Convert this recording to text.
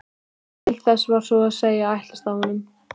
Til þess var svo að segja ætlast af honum.